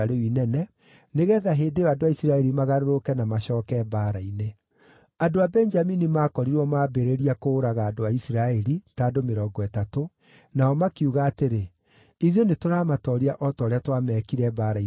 nĩgeetha hĩndĩ ĩyo andũ a Isiraeli magarũrũke na macooke mbaara-inĩ. Andũ a Benjamini maakorirwo maambĩrĩria kũũraga andũ a Isiraeli (ta andũ mĩrongo ĩtatũ), nao makiuga atĩrĩ, “Ithuĩ nĩtũramatooria o ta ũrĩa twamekire mbaara-inĩ ya mbere.”